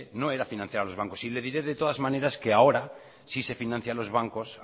no era financiar a los bancos y le diré de todas maneras que ahora sí se financia a los bancos